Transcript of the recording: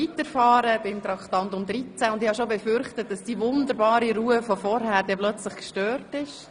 Ich hatte bereits befürchtet, dass die wunderbare Ruhe von vorhin nun wohl gestört wäre.